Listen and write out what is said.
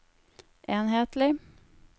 enhetlig